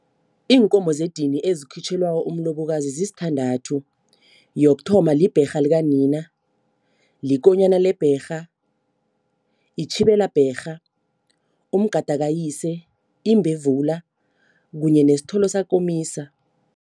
Iinkomo zedini ezikhitjhelwa umlobokazi zisithandathu. Yokuthoma libherha likanina, likonyana lebherha, itjhibela bherha, umgada kayise, imbevula kunye nesithole sakomisa.